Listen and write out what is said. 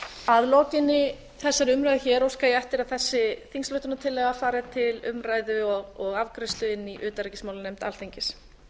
að lokinni þessari umræðu hér óska ég eftir að þessi þingsályktunartillaga fari til umræðu og afgreiðslu inni í utanríkismálanefnd alþingis